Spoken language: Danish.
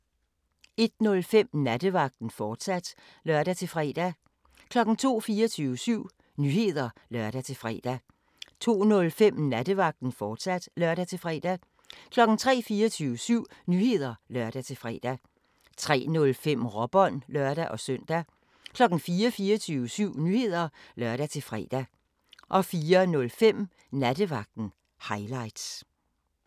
01:05: Nattevagten, fortsat (lør-fre) 02:00: 24syv Nyheder (lør-fre) 02:05: Nattevagten, fortsat (lør-fre) 03:00: 24syv Nyheder (lør-fre) 03:05: Råbånd (lør-søn) 04:00: 24syv Nyheder (lør-fre) 04:05: Nattevagten – highlights